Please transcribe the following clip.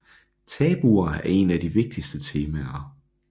Tabuer er en af de vigtigste temaer